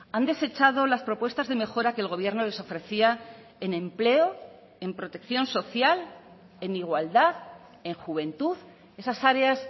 han desechado las propuestas de mejora que el gobierno les ofrecía en empleo en protección social en igualdad en juventud esas áreas